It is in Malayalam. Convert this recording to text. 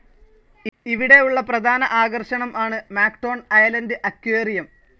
ഇവിടെ ഉള്ള പ്രധാന ആകർഷണം ആണ് മാക്ടോൺ അയലൻഡ് അക്വേറിയം.